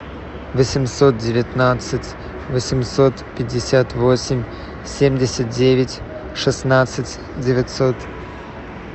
восемьсот девятнадцать восемьсот пятьдесят восемь семьдесят девять шестнадцать девятьсот